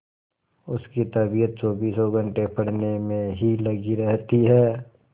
उसकी तबीयत चौबीसों घंटे पढ़ने में ही लगी रहती है